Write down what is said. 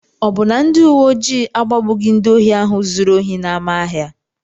Ọ bụ na ndị uwe ojii agbagbughị ndị ohi ahụ zuru ohi n'ámá ahịa?